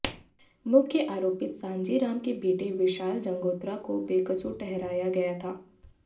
मुख्य आरोपित सांजी राम के बेटे विशाल जंगोत्रा को बेक़सूर ठहराया गया था